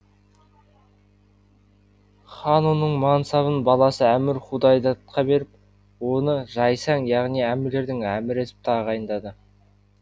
хан оның мансабын баласы әмір худайдадқа беріп оны жайсаң яғни әмірлердің әмірі етіп тағайындады